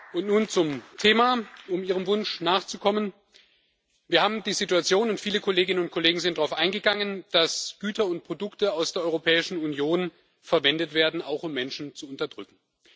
Und nun zum Thema, um Ihrem Wunsch nachzukommen Wir haben die Situation und viele Kolleginnen und Kollegen sind darauf eingegangen dass Güter und Produkte aus der Europäischen Union auch verwendet werden, um Menschen zu unterdrücken.